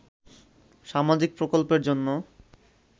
সামাজিক প্রকল্পের জন্য